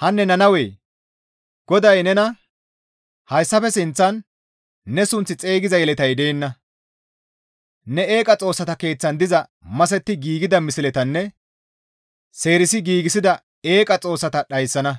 Hanne Nannawe GODAY nena, «Hayssafe sinththan ne sunth xeygiza yeletay deenna. Ne eeqa xoossata keeththan diza masetti giigida misletanne seerisi giigsida eeqa xoossata dhayssana;